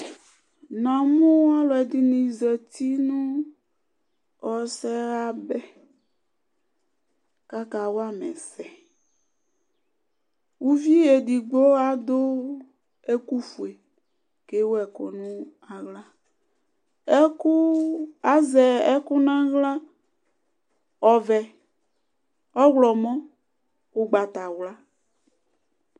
Na mʊ ɔlʊ zdinɩ azatɩ nʊ ɔsɛyabɛ kaja wala ɛsz Ʊvɩ edɩgbo adʊ ɛkʊ fʊe kewʊ ɛkʊ nawla Azɛ ɛkʊ nawla ɔvɛ, ɔwlɔmɔ, ʊgbatawla